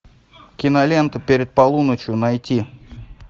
кинолента перед полуночью найти